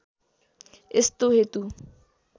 यस्तो हेतु